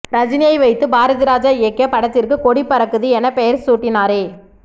ரஜினியை வைத்து பாரதிராஜா இயக்கிய படத்திற்கு கொடி பறக்குது என பெயர் சூட்டினாரே